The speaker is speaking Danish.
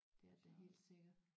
Det er det da helt sikkert